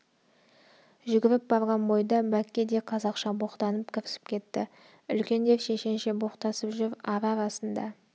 жүгіріп барған бойда бәкке де қазақша боқтанып кірісіп кетті үлкендер шешенше боқтасып жүр ара-арасында о-о